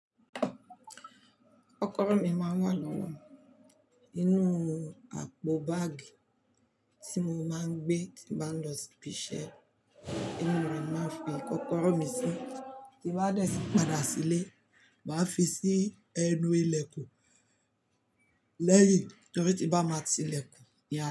Kọ́kọ́rọ́ mi máa inú àpò báàgì tí mo man gbé tímo bá ń lọ sí ibi iṣẹ́. Inú rẹ̀ máa ń fi kọ́kọ́rọ́ mi sí. Ti bá dẹ̀ tí padà sílé, màá fi sí ẹnu ilẹ̀kùn lẹ́yìn torí ti mọ ba máa ti lẹ̀kùn ni a lọ.